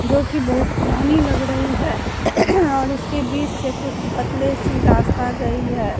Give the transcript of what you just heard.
जोकि बहुत पुरानी लग रही है और इसके बीच से कुछ पतले से रास्ता गई है।